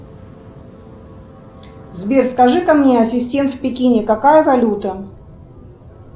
сбер скажи ка мне ассистент в пекине какая валюта